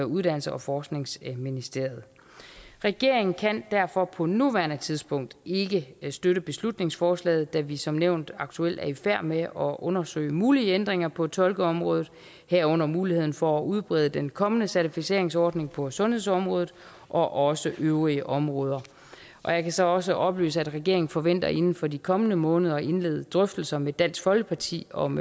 uddannelses og forskningsministeriet regeringen kan derfor på nuværende tidspunkt ikke støtte beslutningsforslaget da vi som nævnt aktuelt er i færd med at undersøge mulige ændringer på tolkeområdet herunder muligheden for at udbrede den kommende certificeringsordning på sundhedsområdet og også øvrige områder jeg kan så også oplyse at regeringen forventer inden for de kommende måneder at indlede drøftelser med dansk folkeparti om